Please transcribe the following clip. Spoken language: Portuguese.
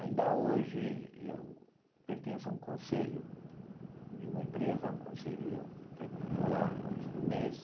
Ainda hoje, eu pertenço a um conselho de uma empresa um conselho, eu vou lá uma vez por mês,